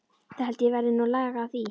Það held ég verði nú lag á því.